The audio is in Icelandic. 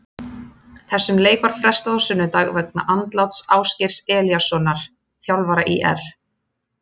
Þessum leik var frestað á sunnudag vegna andláts Ásgeirs Elíassonar þjálfara ÍR.